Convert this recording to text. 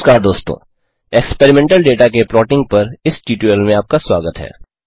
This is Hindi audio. नमस्कार दोस्तों एक्सपेरिमेंटल डेटा के प्लॉटिंग पर इस ट्यूटोरियल में आपका स्वागत है